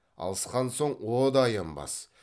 алысқан соң о да аянбас